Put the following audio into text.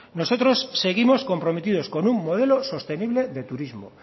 nosotros seguimos comprometidos con un modelo sostenible de turismo